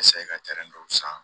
ka tɛrɛn dɔw san